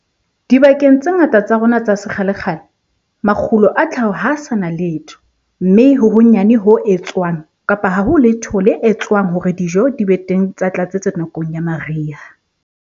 Dibakeng tse ngata tsa rona tsa sekgalekgale, makgulo a tlhaho ha a sa na letho, mme ho honyane ho etswang kapa ha ho letho le etswang hore dijo di be teng tsa tlatsetso nakong ya mariha.